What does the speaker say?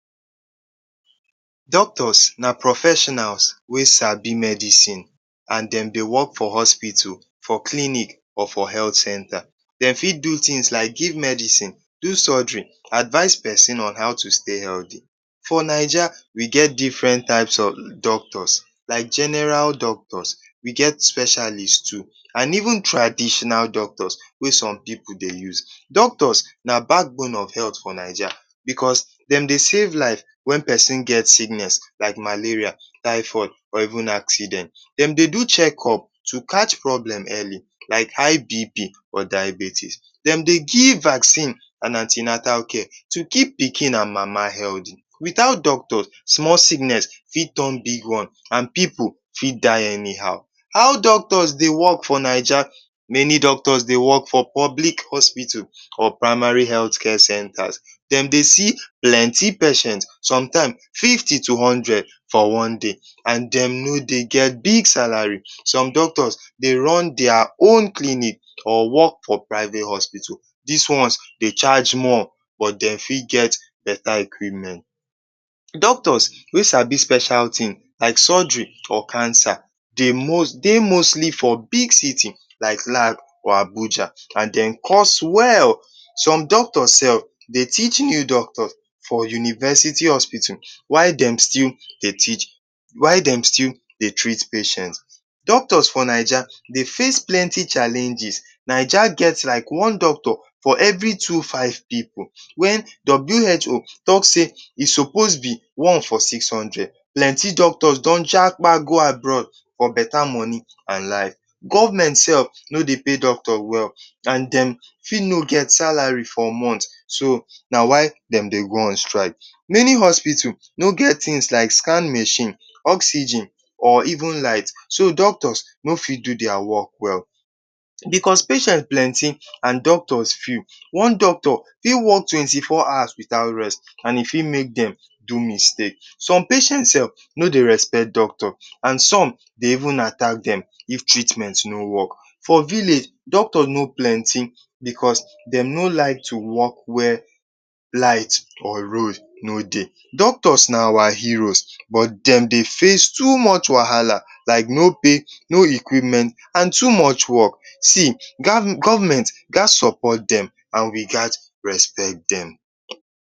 Doctors na profeshonals wey sabi medicins and dem dey work for hospitu, for cliniks and for helt centa. Dem fit do tins like giv medicin, do sojiri and advice pesin on how to stey heldi. For Naija, we get different types of doctor like general doctors, we get specialist too and even traditional doctors wey som pipu dey use. Doctors na bakbon of helt for Naija, dem dey save life wen pesin get siknes like malaria, thyphoid, or even accident. Dem dey do chekop to catch problem earli like high BP, diabetes. Dem dey giv vacin, anti-natal care to keep pikin and mama heldy. Without doctors, smol sikness fit ton big one and pipu fit die eni how. How doctors dey work for Naija? Meni doctors dey work for public hospitu or primary helt care centa, dem dey see plenty patient, som time fifty to hundred for one day and dem no dey get big salari. Som doctors dey run dia own clinic or work for privet hospitu. Dis one dey charge more but dem fit get beta ekwipment. Doctors wey sabi special tin like sorjiri or cancer dey mostli for big city like Lag or Abuja and dem cost well. Som doctor sef, dey teach new doctors for university hospitu while dem still dey treat patient. Doctors for Naija dey face plenty challenges like one doctor for everi two-five pipu wen WHO talk sey e sopos be one for six hundred. Plenty doctors jakpa go abroad for beta moni and life. Government sef no dey pay doctor wel and dem fit no get salari for month so na why dem dey go on strike, meni hospitu no get tin like scan mashin, oxygen or even light, so doctor, no fit do dia work well. Because patient plenty and doctor few. One doctor fit work twenty four hours without rest e fit make dem do mistake. Some patient sef, no dey respect doctor and som dey even atak dem if treatment no work. For village doctor no plenty becos dem no like to work where light or road no dey. Doctors na our heroes but dem dey face too moch wahala like no pay, no ekwipment and too moch work. See, government ghas sopot dem and we ghas respect dem.